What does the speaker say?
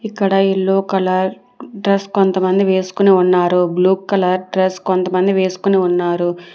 ఇక్కడ yellow colour dress కొంతమంది వేస్కొని ఉన్నారు బ్లూ కలర్ డ్రెస్ కొంతమంది వేస్కొని ఉన్నారు.